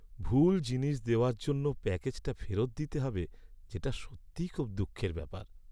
ভুল জিনিস দেওয়ার জন্য প্যাকেজটা ফেরত দিতে হবে যেটা সত্যিই খুব দুঃখের ব্যাপার।